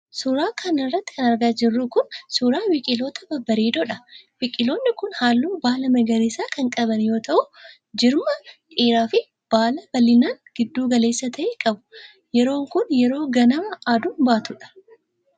Suura kana irratti kan argaa jirru kun, suura biqiloota babbaredoo dha. Biqilooni kun haalluu baalaa magariisa kan qaban yoo ta'u ,jirma dheeraa fi baala bal'inaan giddu galeessa ta'e qabu. Yeroon kun, yeroo ganamaa aduun baatuu dha.